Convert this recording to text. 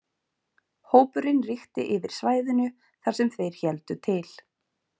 Hópurinn ríkti yfir svæðinu þar sem þeir héldu til.